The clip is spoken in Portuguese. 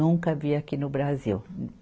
Nunca vi aqui no Brasil.